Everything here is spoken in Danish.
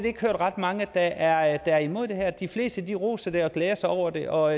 ikke ret mange der er imod det her de fleste roser det og glæder sig over det og